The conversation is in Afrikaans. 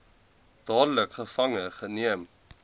dadelik gevange geneem